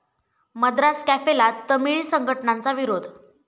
मद्रास कॅफे'ला तामिळी संघटनांचा विरोध